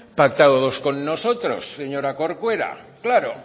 pactados con nosotros señora corcuera claro